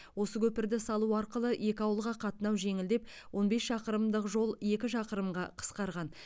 осы көпірді салу арқылы екі ауылға қатынау жеңілдеп он бес шақырымдық жол екі шақырымға қысқарған